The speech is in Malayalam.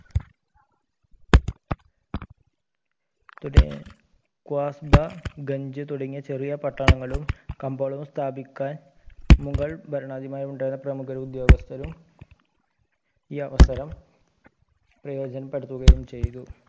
ക്വാസ്‌ബ, ഗഞ്ച തുടങ്ങിയ ചെറിയ പട്ടാളങ്ങളും കമ്പോളങ്ങൾ സ്ഥാപിക്കാൻ മുഗൾ ഭരണാധികാരിമാരിൽ ഉണ്ടായിരുന്ന പ്രമുഖ ഉഫ്യോഗസ്ഥരും ഈ അവസരം പ്രയോജനപ്പെടുത്തുകയും ചെയ്തു.